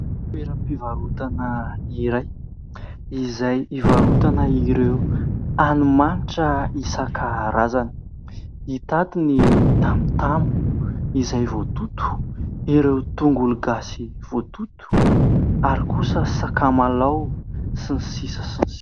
Toeram-pivarotana iray izay hivarotana ireo hani-manitra isan-karazany. Hita ato ny tamotamo izay voatoto, ireo tongologasy voatoto ary kosa sakamalao sy ny sisa.